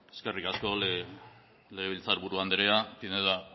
eskerrik asko legebiltzar buru andrea pinedo